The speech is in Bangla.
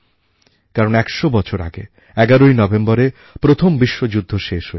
কারণ একশো বছর আগে এগারোই নভেম্বরে প্রথম বিশ্বযুদ্ধ শেষ হয়েছিল